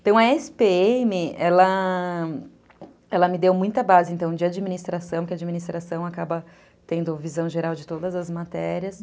Então a esse pê eme, ela me deu muita base, então, de administração, que a administração acaba tendo visão geral de todas as matérias.